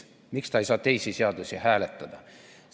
Miks ta ei saa teisi seadusi hääletada?